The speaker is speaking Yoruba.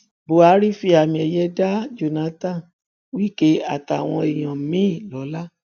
buhari fi àmiẹyẹ da jonathan wike àtàwọn èèyàn míín lọla